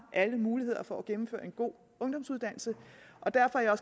alle mulighederne for at gennemføre en god ungdomsuddannelse derfor er